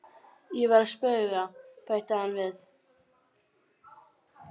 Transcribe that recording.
Ég var að spauga, bætti hann við.